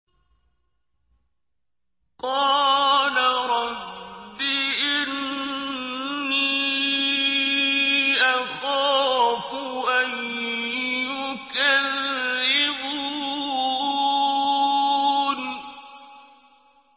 قَالَ رَبِّ إِنِّي أَخَافُ أَن يُكَذِّبُونِ